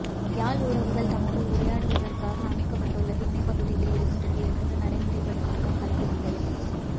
யாழ் உறவுகள் தமக்குள் உரையாடுவதற்காக அமைக்கப்பட்டுள்ள திண்ணை பகுதியில் இன்றில் இருந்து நடைமுறைப்படுத்தப்படும் கள விதிகள்